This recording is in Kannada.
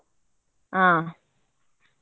ಹ.